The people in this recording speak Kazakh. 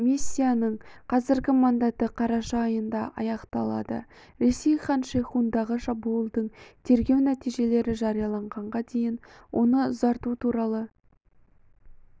миссияның қазіргі мандаты қараша айында аяқталады ресей хан-шейхундағы шабуылдың тергеу нәтижелері жарияланғанға дейін оны ұзарту туралы